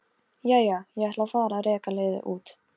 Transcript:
Jæja, ég ætla að fara að reka liðið út.